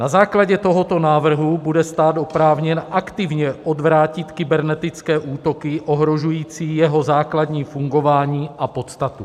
Na základě tohoto návrhu bude stát oprávněn aktivně odvrátit kybernetické útoky ohrožující jeho základní fungování a podstatu.